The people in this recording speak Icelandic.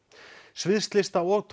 sviðslista og